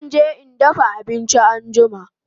Zan ke in dafa abinchin anjima